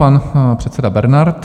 Pan předseda Bernard.